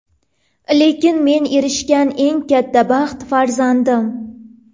Lekin men erishgan eng katta baxt farzandim.